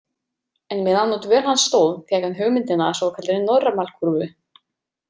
En meðan á dvöl hans stóð fékk hann hugmyndina að svokallaðri normalkúrfu.